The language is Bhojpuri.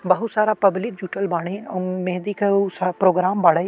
बहुत सारा पब्लिक जुटल बाड़े। अउ महैंदी क उ स् प्रोग्राम बाड़े।